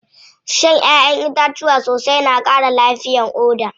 Shan ƴaʼƴen itatuwa sosai na ƙara lafiyar ƙoda.